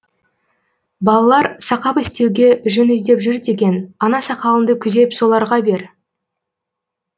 балалар сақап істеуге жүн іздеп жүр деген ана сақалыңды күзеп соларға бер